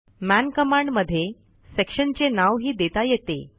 मन कमांड मध्ये सेक्शनचे नावही देता येते